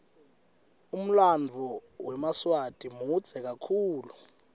umlanduo wemaswati mudze kakhulu